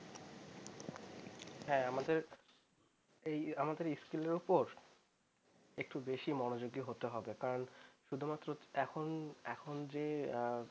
হ্যাঁ আমাদের এই আমাদের school এর উপর একটু বেশি মনযোগী হতে হবে কারণ শুধুমাত্র এখন এখন যে